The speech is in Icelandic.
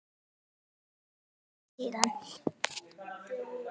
Það er orðin vika síðan.